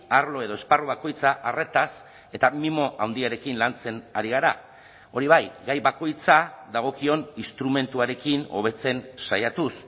arlo edo esparru bakoitza arretaz eta mimo handiarekin lantzen ari gara hori bai gai bakoitza dagokion instrumentuarekin hobetzen saiatuz